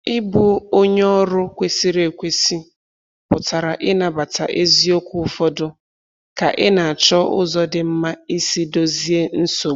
Ịbụ onye ọrụ kwesịrị ekwesị pụtara ịnabata eziokwu ụfọdụ ka ị na-achọ ụzọ dị mma isi dozie nsogbu.